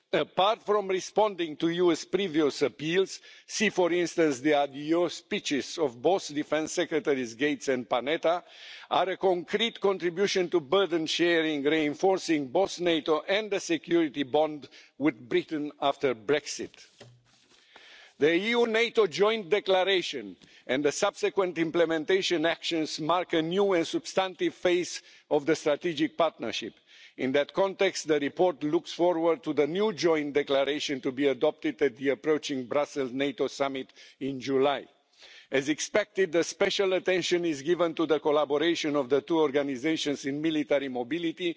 apart from responding to US previous appeals, see for instance the adios' speeches of both defence secretaries Gates and Panetta, are a concrete contribution to burden sharing, reinforcing both NATO and the security bond with Britain after Brexit. The EU NATO joint declaration and the subsequent implementation actions mark a new and substantive phase of the strategic partnership. In that context, the report looks forward to the new joint declaration to be adopted at the approaching Brussels NATO summit in July. As expected, special attention is given to the collaboration between the two organisations in military mobility,